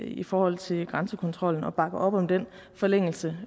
i forhold til grænsekontrollen og bakker op om den forlængelse